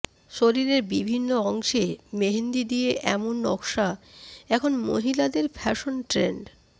শরীরের বিভিন্ন অংশে মেহেন্দি দিয়ে এমন নকশা এখন মহিলাদের ফ্যাশন ট্রেন্ড